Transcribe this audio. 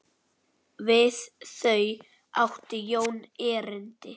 Við þau átti Jón erindi.